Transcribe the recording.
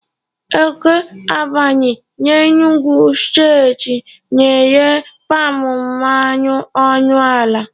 Eke Agbani n'Enugwu steeti na-ere palm mmanụ ọnụ ala.